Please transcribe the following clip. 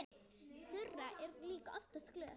Þura er líka oftast glöð.